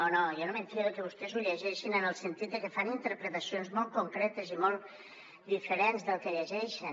no no jo no me’n fio que vostès ho llegeixin en el sentit que fan interpretacions molt concretes i molt diferents del que llegeixen